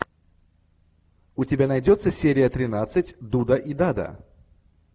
у тебя найдется серия тринадцать дуда и дада